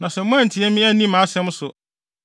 “ ‘Na sɛ moantie me, anni mʼasɛm so,